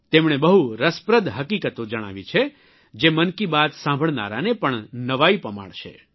તેમણે બહુ રસપ્રદ હકીકતો જણાવી છે જે મનકી બાત સાંભળનારાને પણ નવાઇ પમાડશે